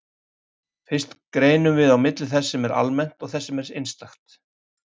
Fyrst greinum við á milli þess sem er almennt og þess sem er einstakt.